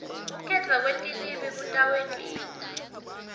kukhetfwa kwetilwimi kutawentiwa